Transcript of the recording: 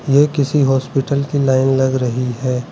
ये किसी हॉस्पिटल की लाइन लग रही है।